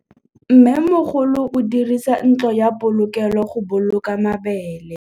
Mmêmogolô o dirisa ntlo ya polokêlô, go boloka mabele.